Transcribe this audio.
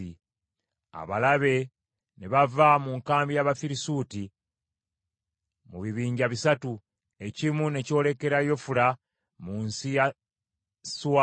Abalabe ne bava mu nkambi y’Abafirisuuti mu bibinja bisatu, ekimu ne kyolekera Yofula, mu nsi ya Suwaali,